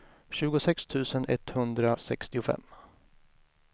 tjugosex tusen etthundrasextiofem